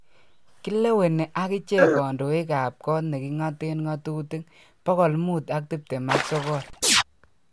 Kileweni agichen kondoik ap kot negingoten ngatutik 529.